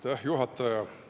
Aitäh, juhataja!